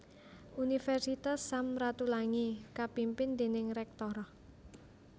Universitas Sam Ratulangi kapimpin déning Rektor